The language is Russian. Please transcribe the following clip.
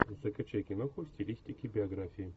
закачай киноху в стилистике биографии